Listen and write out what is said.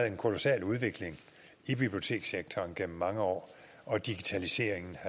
en kolossal udvikling i bibliotekssektoren igennem mange år og digitaliseringen